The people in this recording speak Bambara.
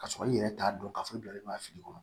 K'a sɔrɔ i yɛrɛ t'a dɔn k'a fɔ i bilalen b'a fili